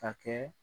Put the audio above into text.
Ka kɛ